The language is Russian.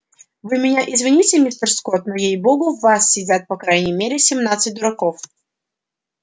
вы меня извините мистер скотт но ей богу в вас сидят по крайней мере семнадцать дураков